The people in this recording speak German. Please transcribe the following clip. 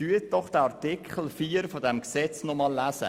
Lesen Sie Artikel 4 dieses Gesetzes noch einmal.